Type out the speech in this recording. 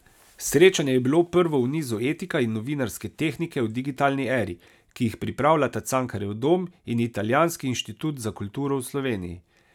Srečanje je bilo prvo v nizu Etika in novinarske tehnike v digitalni eri, ki jih pripravljata Cankarjev dom in Italijanski inštitut za kulturo v Sloveniji.